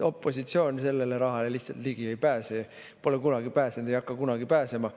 Opositsioon sellele rahale lihtsalt ligi ei pääse, pole kunagi pääsenud, ei hakka kunagi pääsema.